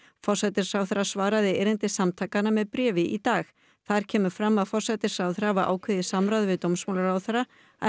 forsætisráðherra svaraði erindi samtakanna með bréfi í dag þar kemur fram að forsætisráðherra hafi ákveðið í samráði við dómsmálaráðherra að